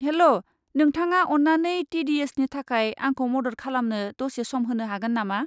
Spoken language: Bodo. हेल्ल', नोंथाङा अन्नानै टि डि एसनि थाखाय आंखौ मदद खालामनो दसे सम होनो हागोन नामा?